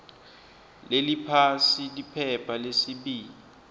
leliphasi liphepha lesibili